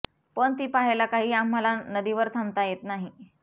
पण ती पहायला काही आम्हांला नदीवर थांबता येत नाही